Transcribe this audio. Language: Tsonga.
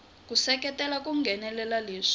ku seketela ku nghenelela leswi